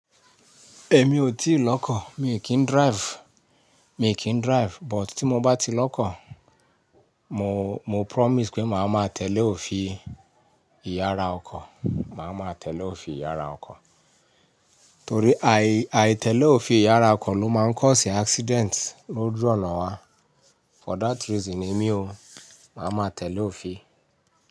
Ẹ̀mi ò tí lọ́kọ̀, mi kì ń drive, mi kì ń drive but tí mo bá ti lọ́kọ̀, mo, mo promise pé màá máa tẹ̀lé òfin ìyára ọkọ̀, màá máa tẹ̀lé òfin ìyára ọkọ̀. Torí àì, àì tẹ̀lé òfin ìyára ọkọ̀ ló máa ń kọ sí accident lójú ọ̀nà wa. For that reason ẹmi o, màá máa tẹ̀lé òfin.